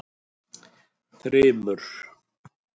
Þrymur